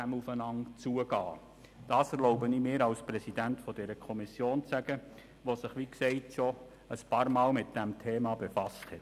Dies erlaube ich mir als Präsident der GPK zu sagen, die sich, wie gesagt, schon einige Male damit befasst hat.